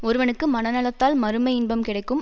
ஒருவனுக்கு மனநலத்தால் மறுமை இன்பம் கிடைக்கும்